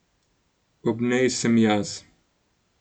Ob njej sem jaz.